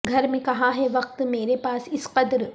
گھر میں کہاں ہے وقت مرے پاس اس قدر